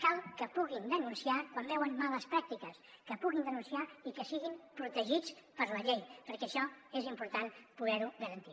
cal que puguin denunciar quan veuen males pràctiques que puguin denunciar i que siguin protegits per la llei perquè això és important poder ho garantir